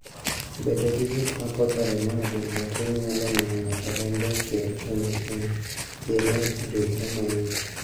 Bedo gi gik ma poto remo e del matin nyalo miyo ng'ato rembe chwer kendo piene ridhre mayot.